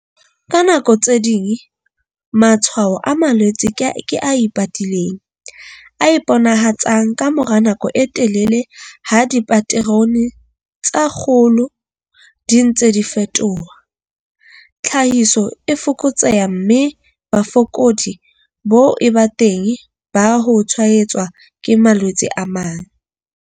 Ka nako tse ding matshwao a malwetse ke a ipatileng, a iponahatsang ka mora nako e telele ha dipaterone tsa kgolo di ntse di fetoha, tlhahiso e fokotseha, mme bofokodi bo eba teng ba ho tshwaetswa ke malwetse a mang.